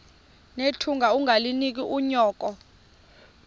nethunga ungalinik unyoko